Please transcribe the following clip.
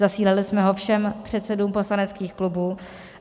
Zasílali jsme ho všem předsedům poslaneckých klubů.